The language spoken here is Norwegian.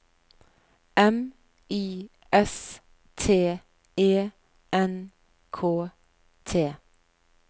M I S T E N K T